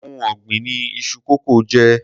Oun ògbìn ni iṣu kókò jé.